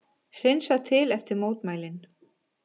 Hreinsað til eftir mótmælin